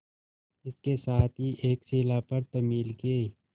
इसके साथ ही एक शिला पर तमिल के